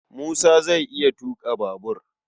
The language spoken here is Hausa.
Musa zai iya tuƙa babur